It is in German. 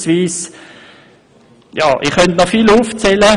Ich könnte noch viel mehr erwähnen.